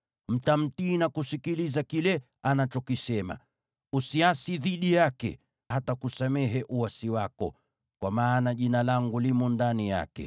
Mtamtii na kusikiliza kile anachokisema. Usiasi dhidi yake; hatakusamehe uasi wako, kwa maana Jina langu limo ndani yake.